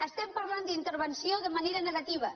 estem parlant d’intervenció de manera negativa